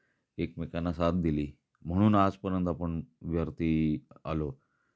एकमेकांना साथ दिली म्हणून आजपर्यंत आपण वरती आलो.